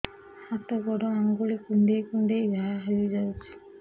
ହାତ ଗୋଡ଼ ଆଂଗୁଳି କୁଂଡେଇ କୁଂଡେଇ ଘାଆ ହୋଇଯାଉଛି